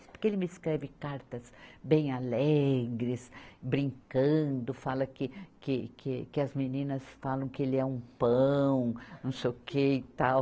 Porque ele me escreve cartas bem alegres, brincando, fala que, que, que as meninas falam que ele é um pão, não sei o que e tal.